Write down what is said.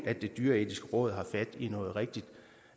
det dyreetiske råd har fat i noget rigtigt